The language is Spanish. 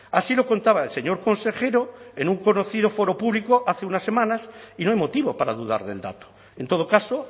así lo contaba el señor consejero en un conocido foro público hace unas semanas y no hay motivo para dudar del dato en todo caso